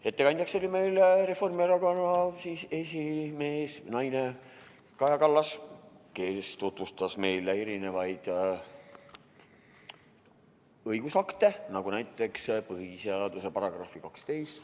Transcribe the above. Ettekandjaks oli meil Reformierakonna esimees või -naine Kaja Kallas, kes tutvustas meile õigusakte, näiteks põhiseaduse § 12.